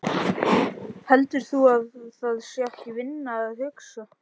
Heldur þú að það sé ekki vinna að hugsa?